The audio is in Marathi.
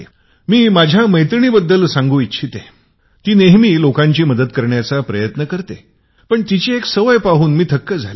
मी माझ्या मैत्रिणीबद्दल सांगू इच्छिते ती नेहमी लोकांची मदत करण्याचा प्रयत्न पण तिची एक सवय पाहून मी थक्क झाले